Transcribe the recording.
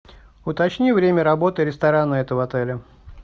уточни время работы ресторана этого отеля